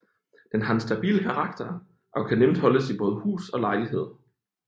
Den har en stabil karakter og kan nemt holdes i både hus og lejlighed